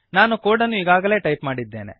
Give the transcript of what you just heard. ನಾನು ಕೋಡನ್ನು ಈಗಾಗಲೇ ಟೈಪ್ ಮಾಡಿದ್ದೇನೆ